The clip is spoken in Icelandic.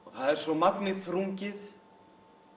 það er svo magni þrungið